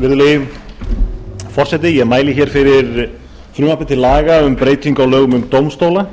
virðulegi forseti ég mæli hér fyrir frumvarpi til laga um um breytingu á lögum um dómstóla